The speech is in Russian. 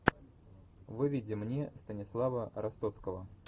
выведи мне станислава ростоцкого